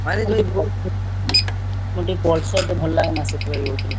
ମୁଁ ଟିକେ Pulsar ଟା ଭଲ ଲାଗେନା ସେଥିପାଇଁ କହୁଛି।